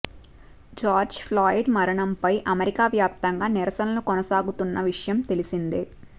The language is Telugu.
జార్జ్ ఫ్లాయిడ్ మరణంపై అమెరికా వ్యాప్తంగా నిరసనలు కొనసాగుతున్న విషయం తెలిసిందే